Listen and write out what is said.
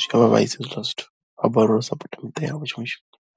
zwi nga vha vhaisa hezwiḽa zwithu, vha balelwa u sapotha miṱa yavho tshiṅwe tshifhinga.